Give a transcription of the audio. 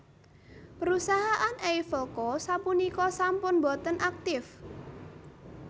Perusahaan Eiffel Co sapunika sampun boten aktif